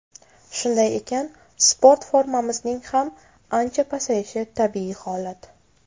Shunday ekan, sport formamizning ham ancha pasayishi tabiiy holat.